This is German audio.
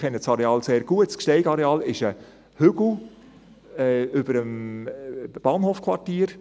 Ich kenne das Areal sehr gut, das Gsteig-Areal ist ein Hügel über dem Bahnhofquartier.